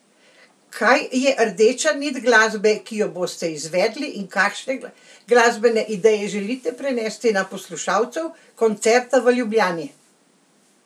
Kaj je rdeča nit glasbe, ki jo boste izvedli in kakšne glasbene ideje želite prenesti do poslušalcev koncerta v Ljubljani?